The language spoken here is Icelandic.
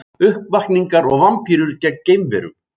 Uppvakningar og vampírur gegn geimverum